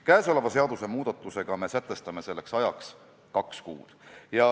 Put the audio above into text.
Kõnealuse seadusmuudatusega me sätestame selleks ajaks kaks kuud.